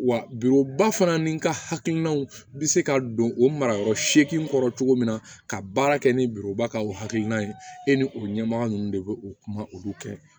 Wa bi o ba fana ni ka hakilinaw bɛ se ka don o marayɔrɔ seegin kɔrɔ cogo min na ka baara kɛ ni biroba ka o hakilina ye e ni o ɲɛmɔgɔ ninnu de bɛ u kuma olu kɛ